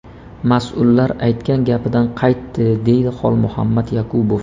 Mas’ullar aytgan gapidan qaytdi”, deydi Xolmuhammad Yakubov.